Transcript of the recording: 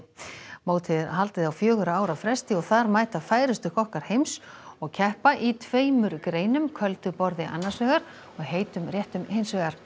mótið er haldið á fjögurra ára fresti og þar mæta færustu kokkar heims og keppa í tveimur greinum köldu borði annars vegar og heitum réttum hins vegar